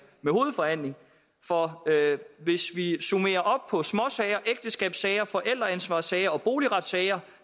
med hovedforhandling for hvis vi summerer op på småsager ægteskabssager forældreansvarssager og boligretssager